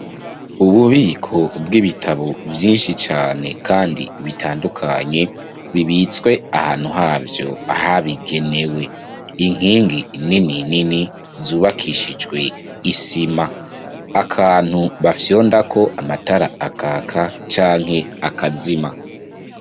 Ububiko bw'ibitabo byinshi cyane kandi bitandukanye bibitswe ahantu habyo ahabigenewe inkingi nini nini zubakishijwe isima akantu bafyondako amatara akaka canke akazima.